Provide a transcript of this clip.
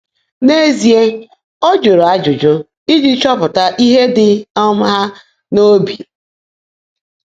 N’ézíe, ọ́ jụ́rụ́ ájụ́jụ́ íjí chọ́pụtá íhe ḍị́ um há n’óbi.